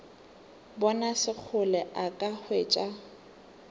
bona sekgole a ka hwetšega